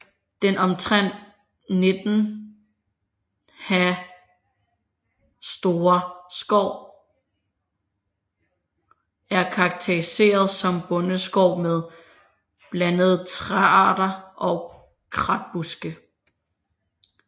Den omtrent 19 ha store skov er karakteriseret som bondeskov med blandede træarter og kratbuske